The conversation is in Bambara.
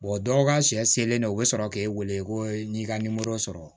dɔw ka sɛ selen no o be sɔrɔ k'e wele ko n'i ka nimoro sɔrɔ